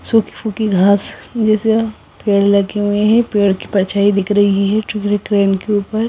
सूखी फूखी घास पेड़ लगे हुए हैं पेड़ की परछाईं दिख रही है ट्रेन के ऊपर।